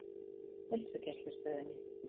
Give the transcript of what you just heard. Heilsugæslustöðinni